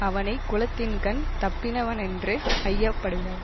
அவனை குலத்தின்கண் தப்பினவனென்று ஐயப்படுக